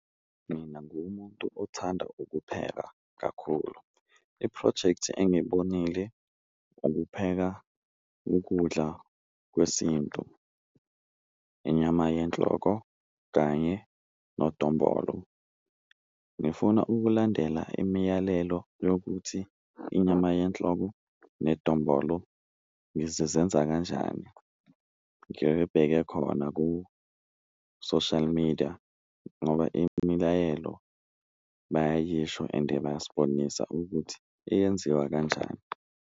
Mina ngiwumuntu othanda ukuphela kakhulu iphrojekthi engiyibonile ukupheka ukudla kwesintu, inyama yenhloko kanye nodombolo, ngifuna ukulandela imiyalelo yokuthi inyama yenhloko nedombolo ngizizenza kanjani. Ngiyibheke khona ku-social media ngoba imilayelo bayayisho ende bayasibonisa ukuthi iyenziwa kanjani.